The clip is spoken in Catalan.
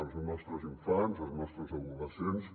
els nostres infants els nostres adolescents